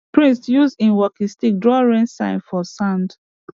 priest use him walking stick draw rain sign for sand